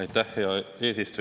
Aitäh, hea eesistuja!